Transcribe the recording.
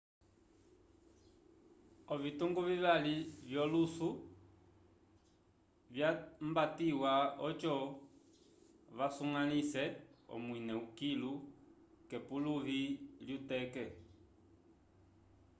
ovitungu vivali vyolusu vyambatiwa oco vasuñgalĩse omwine kilu k'epuluvi lyuteke